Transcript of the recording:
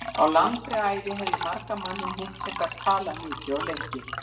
Á langri æfi hef ég margan manninn hitt sem gat talað mikið og lengi.